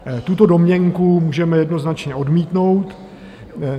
Tuto domněnku můžeme jednoznačně odmítnout.